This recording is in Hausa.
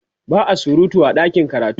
ba'a surutu a ɗakin karatu